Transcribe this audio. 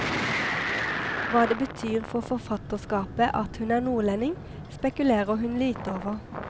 Hva det betyr for forfatterskapet at hun er nordlending, spekulerer hun lite over.